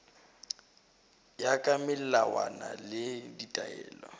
ya ka melawana le ditaelo